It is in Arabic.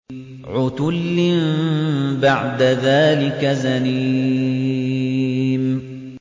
عُتُلٍّ بَعْدَ ذَٰلِكَ زَنِيمٍ